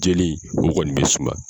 Jeli o kɔni bɛ suma.